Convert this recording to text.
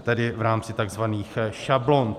tedy v rámci tzv. šablon.